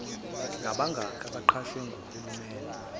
ngabakhi abaqashwe nguhulumeni